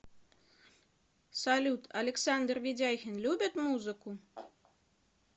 салют александр ведяхин любит музыку